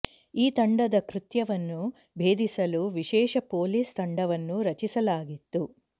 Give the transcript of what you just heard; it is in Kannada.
ಈ ತಂಡದ ಕೃತ್ಯವನ್ನು ಭೇದಿಸಲು ವಿಶೇಷ ಪೊಲೀಸ್ ತಂಡವನ್ನು ರಚಿಸಲಾಗಿತ್ತು